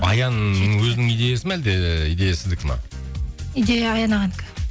аян өзінің идеясы ма әлде идея сіздікі ме идея аян ағанікі